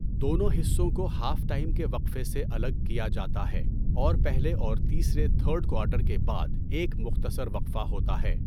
دونوں حصوں کو ہاف ٹائم کے وقفے سے الگ کیا جاتا ہے، اور پہلے اور تیسرے تھرڈ کواٹر کے بعد ایک مختصر وقفہ ہوتا ہے۔